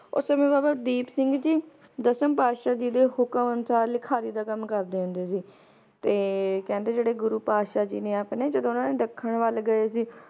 ਉਸ ਸਮੇ ਬਾਬਾ ਦੀਪ ਸਿੰਘ ਜੀ ਦਸਮ ਪਾਤਸ਼ਾਹ ਜੀ ਦੇ ਹੁਕਮ ਅਨੁਸਾਰ ਲਿਖਾਰੀ ਦਾ ਕੰਮ ਕਰਦੇ ਹੁੰਦੇ ਸੀ ਤੇ ਕਹਿੰਦੇ ਜਿਹੜੇ ਗੁਰੂ ਪਾਤਿਸ਼ਾਹ ਜੀ ਨੇ ਆਪਣੇ ਜਦੋ ਉਹਨਾਂ ਨੇ ਦੱਖਣ ਵੱਲ ਗਏ ਸੀ